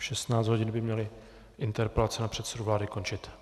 V 16.00 hodin by měly interpelace na předsedu vlády končit.